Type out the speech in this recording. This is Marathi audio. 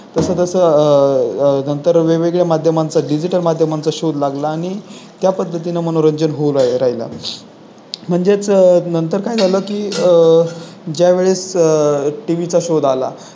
तसं तसं आह नंतर वेगवेगळ्या माध्यमांचा Digital माध्यमांचा शोध लागला आणि त्या पद्धतीने मनोरंजन होत राहिलाच म्हणजेच नंतर काय झालं की आह ज्यावेळेस टीव्ही चा शोध आला